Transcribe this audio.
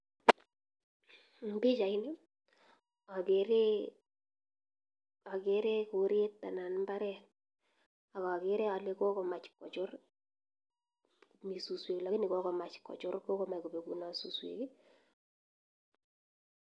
En pichaini okere koreet anan imbaret ak okere olee kokomach kochur mii suswek lakini kokomach kochur kokobekunot suswek.